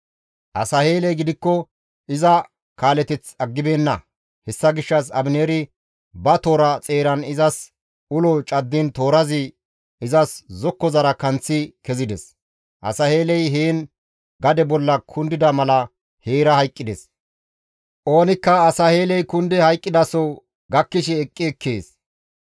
Asaheeley gidikko iza kaaleteth aggibeenna; hessa gishshas Abineeri ba toora xeeran izas ulon caddiin toorazi izas zokkozara kanththi kezides. Asaheeley heen gade bolla kundida mala heerakka hayqqides. Oonikka Asaheeley kundi hayqqidaso gakkishe eqqi ekkees.